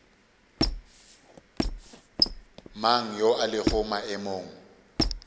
mang yo a lego maemong